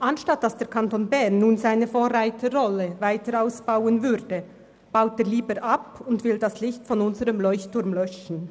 Anstatt dass der Kanton Bern seine Vorreiterrolle weiter ausbaut, baut er lieber ab und will das Licht unseres Leuchtturms löschen.